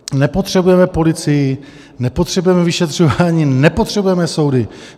Nepotřebujeme policii, nepotřebujeme vyšetřování, nepotřebujeme soudy.